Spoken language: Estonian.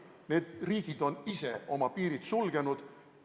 Need riigid on ise oma piirid sulgenud.